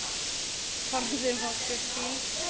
Forðum okkur því.